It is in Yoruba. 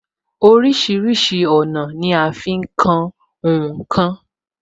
Orísìírísìí ọ̀nà ni a fi ń kan ǹ kan